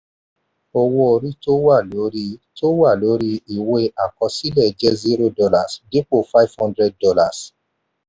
owó orí tó wà lórí tó wà lórí ìwé àkọsílẹ̀ jẹ zero dollars dípò five hundred dollars.